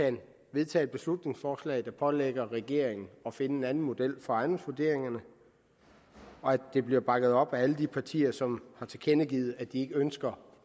vedtager et beslutningsforslag der pålægger regeringen at finde en anden model for ejendomsvurderingerne og at det bliver bakket op af alle de partier som har tilkendegivet at de ikke ønsker